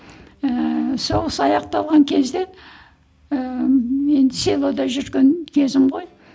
ііі соғыс аяқталған кезде ііі мен селода жүрген кезім ғой